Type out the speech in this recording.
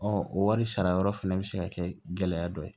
Ɔ o wari sara yɔrɔ fana bɛ se ka kɛ gɛlɛya dɔ ye